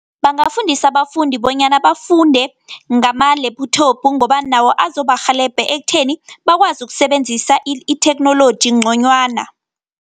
Bangafundisa abafundi bonyana bafunde ngama-laptop ngoba nawo azobarhelebhe ekutheni bakwazi ukusebenzisa itheknoloji ngconywana.